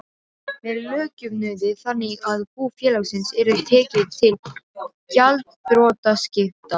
með lögjöfnuði þannig að bú félagsins yrði tekið til gjaldþrotaskipta.